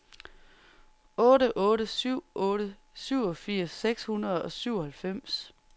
otte otte syv otte syvogfirs seks hundrede og syvoghalvfems